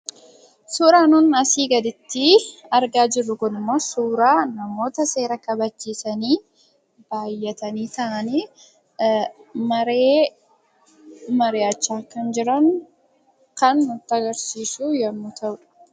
Suuraan nuti asii gaditti argaa jirru kunimmoo suuraa namoota seera kabachiisanii baay'atanii taa'anii maree mari'achaa kan jiran kan agarsiisudha.